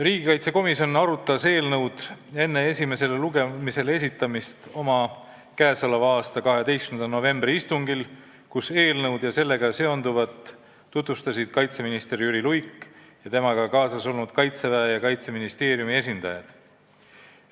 Riigikaitsekomisjon arutas eelnõu enne esimesele lugemisele esitamist oma k.a 12. novembri istungil, kus eelnõu ja sellega seonduvat tutvustasid kaitseminister Jüri Luik ning temaga kaasas olnud Kaitseväe ja Kaitseministeeriumi esindajad.